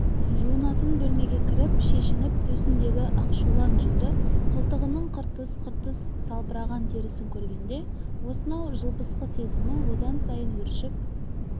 жуынатын бөлмеге кіріп шешініп төсіндегі ақшулан жүнді қолтығының қыртыс-қыртыс салбыраған терісін көргенде осынау жылбысқы сезімі одан сайын өршіп